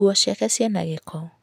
Nguo ciake ciĩna giko.